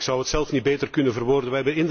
Ik zou het zelf niet beter kunnen verwoorden.